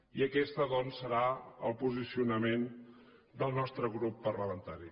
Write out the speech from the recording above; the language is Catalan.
i aquest doncs serà el posicionament del nostre grup parlamentari